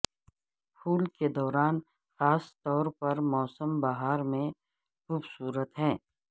پھول کے دوران خاص طور پر موسم بہار میں خوبصورت ہے